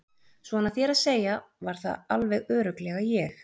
Svona þér að segja var það alveg örugglega ég